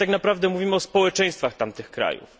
Ale tak naprawdę mówimy o społeczeństwach tamtych krajów.